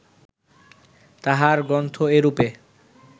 তাঁহার গ্রন্থ এরূপে